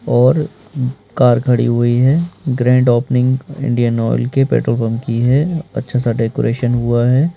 और कार खड़ी हुई हैं ग्रांड ओपनिंग इंडियन ऑइल के पेट्रोल पंप की हैं अच्छासा डेकोरेशन हुआ हैं।